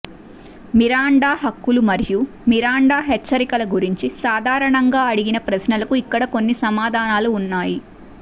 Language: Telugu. మిరాండా హక్కులు మరియు మిరాండా హెచ్చరికల గురించి సాధారణంగా అడిగిన ప్రశ్నలకు ఇక్కడ కొన్ని సమాధానాలు ఉన్నాయి